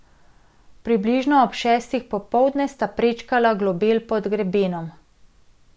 Približno ob šestih popoldne sta prečkala globel pod grebenom.